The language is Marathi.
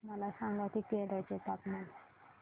मला सांगा की केरळ चे तापमान